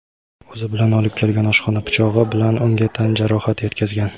o‘zi bilan olib kelgan oshxona pichog‘i bilan unga tan jarohati yetkazgan.